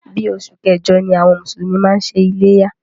Bí oṣù kẹjọ ni àwọn mùsùlùmí máa ń ṣe iléyá.